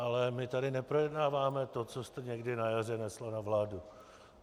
Ale my tu neprojednáváme to, co jste někdy na jaře nesla na vládu.